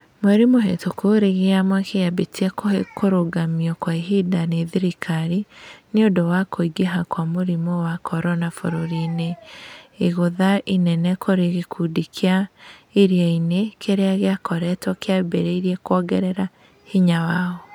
Mweri mũhĩtũku, rigi ya Mwaki yambĩte kũrũgamio kwa kahinda nĩ thirikari nĩũndũ wa kũĩngiha kwa mũrimũ wa korona bũrũriinĩ, igũtha inene kũrĩ gikundi kĩa Iriainĩ kĩrĩa gĩakoretwo kĩambĩrĩa kũongerera hinya wao.